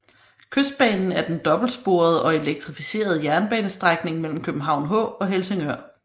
Kystbanen er den dobbeltsporede og elektrificerede jernbanestrækning mellem København H og Helsingør